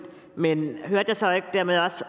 men hørte jeg så ikke dermed også